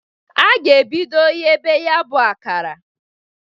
A ga-ebido ghebe ya bụ akara.